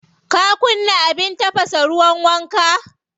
Ka kunna abin tafasa ruwan wanka?